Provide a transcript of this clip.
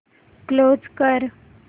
close कर